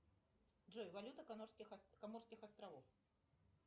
джой валюта коморских островов